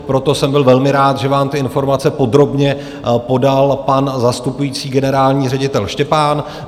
Proto jsem byl velmi rád, že vám ty informace podrobně podal pan zastupující generální ředitel Štěpán.